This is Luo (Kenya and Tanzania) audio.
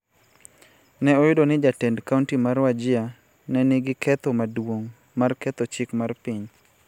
ne oyudo ni jatend kaonti mar Wajir ne nigi ketho maduong� mar ketho chik mar piny